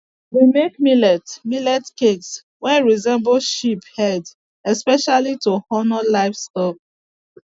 we make millet millet cakes wey resemble sheep head specially to honour livestock